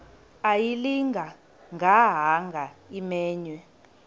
ayilinga gaahanga imenywe